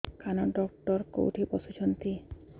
କାନ ଡକ୍ଟର କୋଉଠି ବସୁଛନ୍ତି